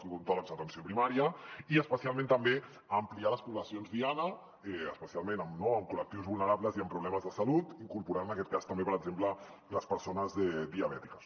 odontòlegs d’atenció primària i especialment també a ampliar les poblacions diana especialment en col·lectius vulnerables i amb problemes de salut incorporant en aquest cas també per exemple les persones diabètiques